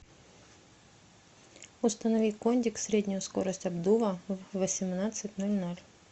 установи кондик среднюю скорость обдува в восемнадцать ноль ноль